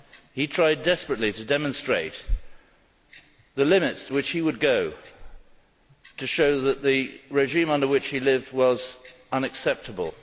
He tried desperately to demonstrate the limits to which he would go to show that the regime under which he lived was unacceptable.